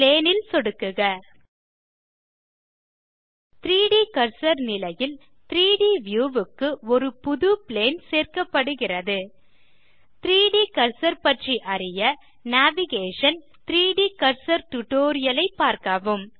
plane ல் சொடுக்குக 3ட் கர்சர் நிலையில் 3ட் வியூ க்கு ஒரு புது பிளேன் சேர்க்கப்படுகிறது 3ட் கர்சர் பற்றி அறிய நேவிகேஷன் - 3ட் கர்சர் டியூட்டோரியல் ஐ பார்க்கவும்